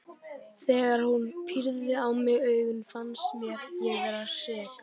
Þegar hún pírði á mig augun fannst mér ég vera sek.